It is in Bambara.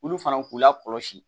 Olu fana k'u la kɔlɔsi